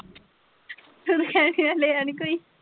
ਹੁਣ ਕਹਿਣ ਡੀ ਲਿਆ ਨਹੀਂ ਕੋਈ।